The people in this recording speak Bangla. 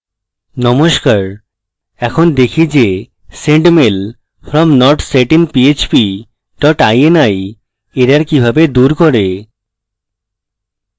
নমস্কার এখন দেখি যে sendmail from not set in php dot ini error কিভাবে dot করে